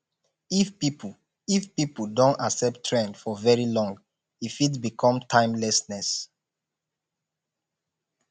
if pipo if pipo don accept trend for very long e fit become timelessness